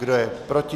Kdo je proti?